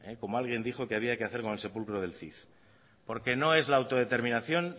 como alguien dijo que había que hacer con el sepulcro del cid porque no es la autodeterminación